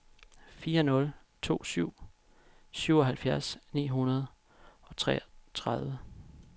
fire nul to syv syvoghalvfjerds ni hundrede og seksogtredive